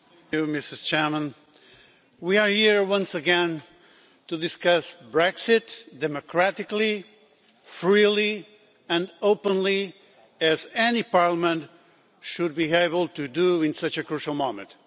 Madam President, we are here once again to discuss Brexit democratically, freely and openly, as any parliament should be able to do at such a crucial moment.